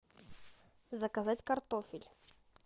заказать картофель